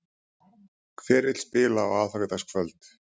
Hver vill spila á aðfangadagskvöld?